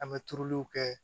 An bɛ turuliw kɛ